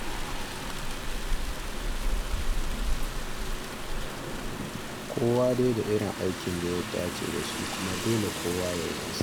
Kowa dai da irin aikin da ya dace da shi, kuma dole kowa ya yi nasa.